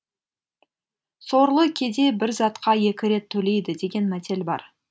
сорлы кедей бір затқа екі рет төлейді деген мәтел бар